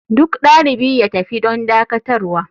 Duk dalibi ya tafi don dakatarwa.